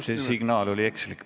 See signaal praegu oli ekslik.